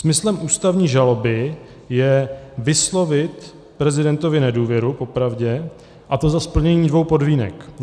Smyslem ústavní žaloby je vyslovit prezidentovi nedůvěru, popravdě, a to za splnění dvou podmínek.